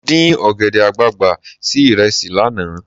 Mo dín ọ̀gẹ̀dẹ̀ àgbààgbà sí ìrẹsì lánàá.